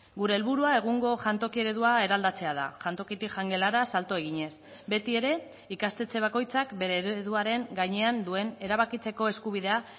gure helburua egungo jantoki eredua eraldatzea da jantokitik jangelara salto eginez betiere ikastetxe bakoitzak bere ereduaren gainean duen erabakitzeko eskubidea